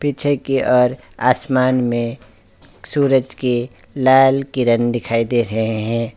पीछे कि ओर आसमान में सूरज कि लाल किरण दिखाई दे रहे है।